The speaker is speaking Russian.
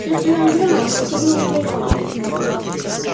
все остальное время он не выходил из своей комнаты